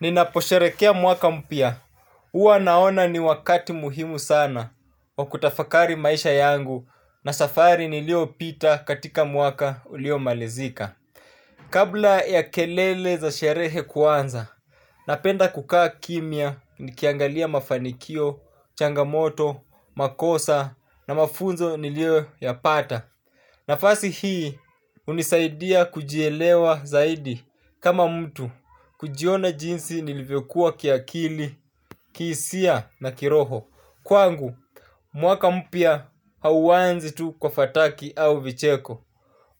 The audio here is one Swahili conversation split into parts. Ninaposherekea mwaka mpya, huwa naona ni wakati muhimu sana wa kutafakari maisha yangu na safari nilio pita katika mwaka ulio malizika. Kabla ya kelele za sherehe kuanza, napenda kukaa kimya ni kiangalia mafanikio, changamoto, makosa na mafunzo nilio yapata. Na fasi hii hunisaidia kujielewa zaidi kama mtu kujiona jinsi nilivyokuwa kiakili, kihisia na kiroho. Kwangu, mwaka mpya hauanzitu kwa fataki au vicheko,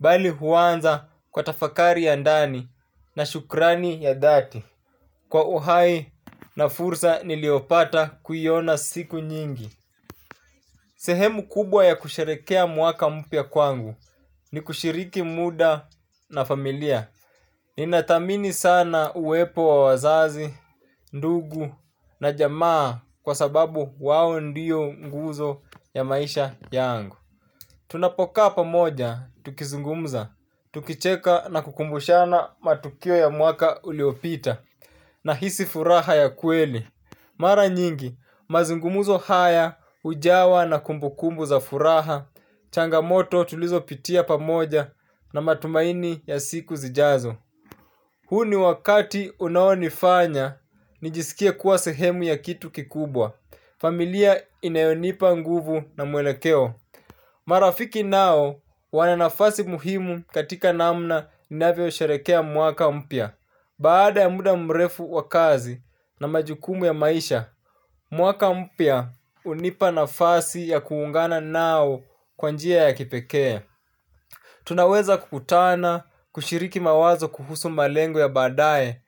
bali huanza kwa tafakari ya ndani na shukrani ya dhati. Kwa uhai na fursa niliopata kuiona siku nyingi. Sehemu kubwa ya kusherekea mwaka mpya kwangu ni kushiriki muda na familia. Ninathamini sana uwepo wa wazazi, ndugu na jamaa kwa sababu wao ndio nguzo ya maisha yangu. Tunapokaa pa moja, tukizungumza, tukicheka na kukumbushana matukio ya mwaka uliopita na hisi furaha ya kweli. Mara nyingi, mazungumuzo haya, hujawa na kumbukumbu za furaha, changamoto tulizo pitia pamoja na matumaini ya siku zijazo. Huu ni wakati unaonifanya, nijisikie kuwa sehemu ya kitu kikubwa. Familia inayonipa nguvu na mwelekeo. Marafiki nao wananafasi muhimu katika namna ninavyo sherekea mwaka mpya. Baada ya muda mrefu wa kazi na majukumu ya maisha, mwaka mpya hunipa nafasi ya kuungana nao kwanjia ya kipekee. Tunaweza kukutana, kushiriki mawazo kuhusu malengo ya badae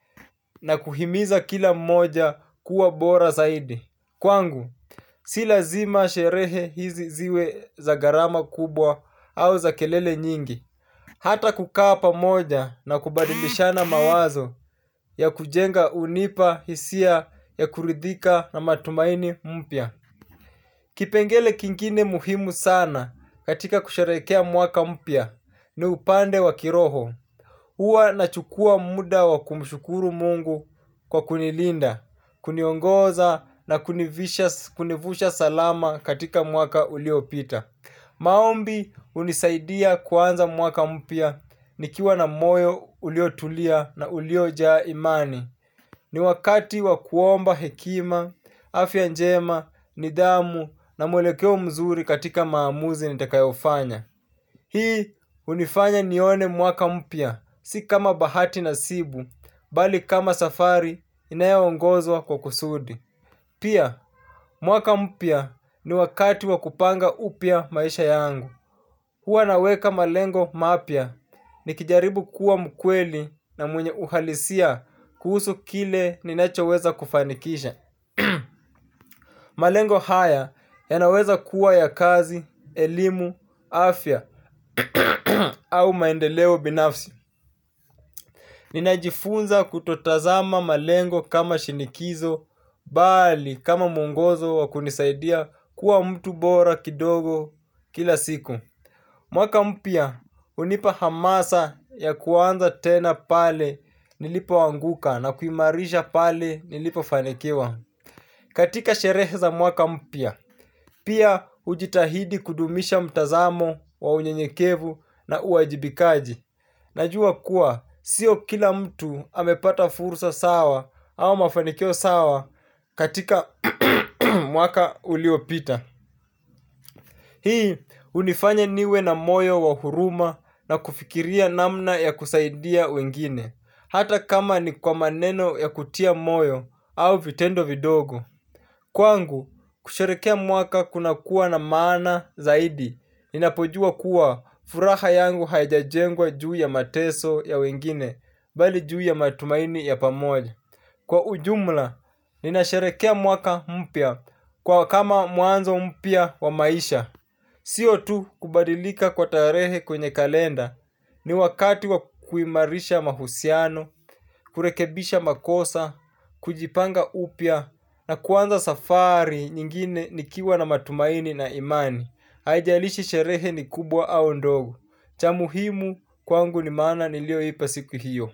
na kuhimiza kila mmoja kuwa bora zaidi. Kwangu, sila zima sherehe hizi ziwe za gharama kubwa au za kelele nyingi. Hata kukaa pa moja na kubadilishana mawazo ya kujenga hunipa hisia ya kuridhika na matumaini mpya. Kipengele kingine muhimu sana katika kusherekea mwaka mpya ni upande wa kiroho. Huwa na chukua muda wa kumshukuru mungu kwa kunilinda, kuniongoza na kunivusha salama katika mwaka uliopita. Maombi hunisaidia kuanza mwaka mpya nikiwa na moyo uliotulia na uliotulia na uliojaa imani. Ni wakati wa kuomba hekima, afyanjema, nidhamu na mwelekeo mzuri katika maamuzi nitakayofanya. Hii hunifanya nione mwaka mpya, si kama bahati na sibu, bali kama safari inayo ongozwa kwa kusudi. Pia, mwaka mpya ni wakati wa kupanga upya maisha yangu. Huwa naweka malengo mapya ni kijaribu kuwa mkweli na mwenye uhalisia kuhusu kile ninachoweza kufanikisha. Malengo haya ya naweza kuwa ya kazi, elimu, afya, au maendeleo binafsi. Ninajifunza kutotazama malengo kama shinikizo, bali kama mwongozo wa kunisaidia kuwa mtu bora kidogo kila siku. Mwaka mpya, hunipa hamasa ya kuanza tena pale nilipo anguka na kuimarisha pale nilipo fanikiwa. Katika sherehe za mwaka mpya, pia hujitahidi kudumisha mtazamo wa unye nyekevu na uajibikaji. Najua kuwa, sio kila mtu amepata fursa sawa au mafanikio sawa katika mwaka uliopita. Hii hunifanya niwe na moyo wa huruma na kufikiria namna ya kusaidia wengine, hata kama ni kwa maneno ya kutia moyo au vitendo vidogo. Kwa ngu, kusharekea mwaka kuna kuwa na maana zaidi. Ninapojua kuwa furaha yangu haijajengwa juu ya mateso ya wengine bali juu ya matumaini ya pamoja. Kwa ujumla, ninasharekea mwaka mpya kwa kama mwanzo mpya wa maisha. Siyo tu kubadilika kwa tarehe kwenye kalenda ni wakati wa kuimarisha mahusiano, kurekebisha makosa, kujipanga upya na kuanza safari nyingine ni kiwa na matumaini na imani. Haijalishi sherehe ni kubwa au ndogo. Chamuhimu kwangu ni maana ni lio ipa siku hiyo.